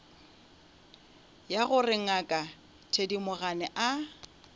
ya gore ngaka thedimogane a